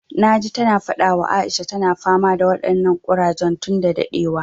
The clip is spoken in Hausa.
Na ji ta na faɗa wa Aisha, ta na fama da waɗannan ƙurajen tun da daɗewa